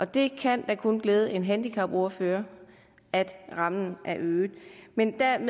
det kan da kun glæde en handicapordfører at rammen er øget men dertil